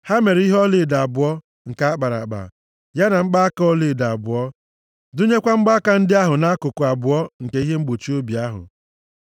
Ha mere ihe ọlaedo abụọ nke a kpara akpa, ya na mgbaaka ọlaedo abụọ. Dụnyekwa mgbaaka ndị ahụ na nkuku abụọ nke ihe mgbochi obi ahụ.